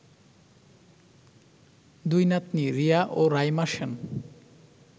দুই নাতনি রিয়া ও রাইমা সেন